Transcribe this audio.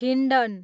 Hindon